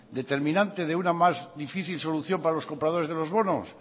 determinante de una más difícil solución para los compradores de los bonos